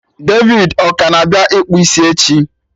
David ọ ka na-abịa ịkpụ isi echi?